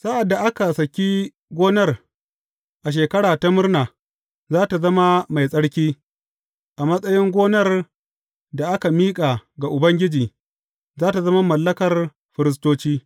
Sa’ad da aka saki gonar a Shekara ta Murna, za tă zama mai tsarki, a matsayin gonar da aka miƙa ga Ubangiji, za tă zama mallakar firistoci.